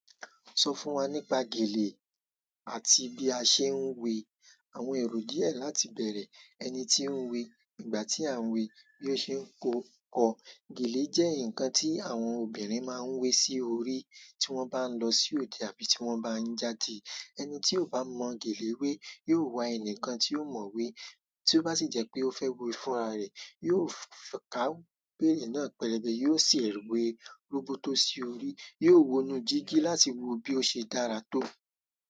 Sọ fún wa nípa gèlè àti bí a ṣe ń we àwọn èrò díẹ̀ láti bẹ̀rẹ̀ ẹni tí ń we ìgbà tí à ń we bí ó ṣe ń kọ́. Gèlè jẹ́ ǹkan tí àwọn obìnrin máa ń wé sí orí tí wọ́n bá ń lọ sí òde àbí tí wọ́n bá ń jáde. Ẹni tí ò bá mọ̀ gèlè wé yóò wa ẹni kan tí ó mọ̀ wé, tí ó bá sì jẹ́ pé ó fẹ́ wé fúnra rẹ̀, yóò kàwé náà pẹ̀lẹ́bẹ́, yóò sì rí wé róbótó sí orí, yóò wonú jígí láti wo bí ó ṣe dára tó.